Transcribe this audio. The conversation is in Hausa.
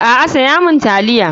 A'a saya min spaghetti.